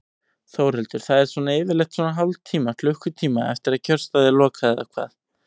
Þórhildur: Það er svona yfirleitt svona hálftíma, klukkutíma eftir að kjörstað er lokað eða hvað?